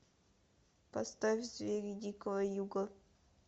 поставь звери дикого юга